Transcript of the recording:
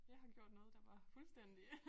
Jeg har gjort noget der var fuldstændig